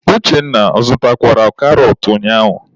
Uchenna a zụtakwara karọt ụnyaahụ?